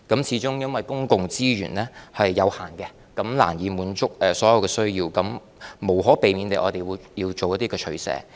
始終公共資源是有限的，難以滿足所有人的需要，我們無可避免地要作出一些取捨。